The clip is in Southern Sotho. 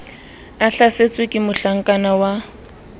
a hlasetswe ke mohlakana wa